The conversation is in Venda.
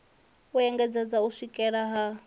u engedzedza u swikela ha